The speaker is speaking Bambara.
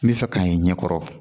N bɛ fɛ ka i ɲɛ kɔrɔ